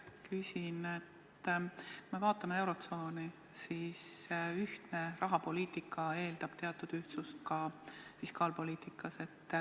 Küsin selle kohta, et kui vaatame eurotsooni, siis eeldab ühtne rahapoliitika teatud ühtsust ka fiskaalpoliitikas.